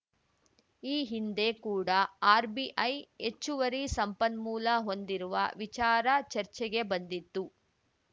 ಈ ಹಿಂದೆ ಕೂಡ ಆರ್‌ಬಿಐ ಹೆಚ್ಚುವರಿ ಸಂಪನ್ಮೂಲ ಹೊಂದಿರುವ ವಿಚಾರ ಚರ್ಚೆಗೆ ಬಂದಿತ್ತು